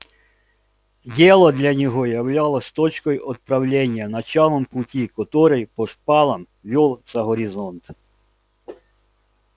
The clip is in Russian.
дело для него являлось точкой отправления началом пути который по шпалам вёл за горизонт